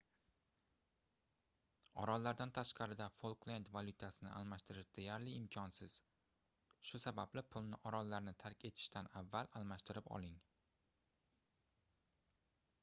orollardan tashqarida folklend valyutasini almashtirish deyarli imkonsiz shu sababli pulni orollarni tark etishdan avval almashtirib oling